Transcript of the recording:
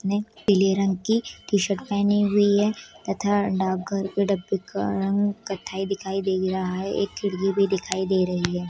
जिसने पीले रंग की टी-शर्ट पहनी हुई है तथा डाक घर के डब्बे का रंग कत्थई दिखाई दे रहा है एक खिड़की भी दिखाई दे रही है।